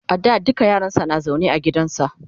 a da dukka yaransa na zaune ne a gidansa